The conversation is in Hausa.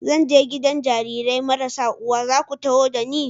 Zan je gidan Jarirai marasa uwa, za ku taho da ni?